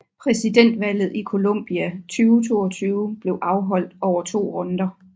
Præsidentvalget i Colombia 2022 blev afholdt over to runder